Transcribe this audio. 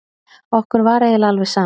Okkur var eiginlega alveg sama.